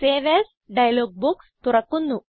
save as dialogue box തുറക്കുന്നു